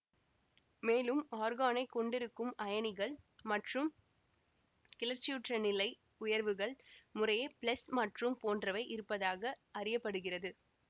மேலும் ஆர்கானைக் கொண்டிருக்கும் அயனிகள் மற்றும் கிளர்ச்சியுற்ற நிலை உயர்வுகள் முறையே ப்ளஸ் மற்றும் போன்றவை இருப்பதாக அறிய படுகிறது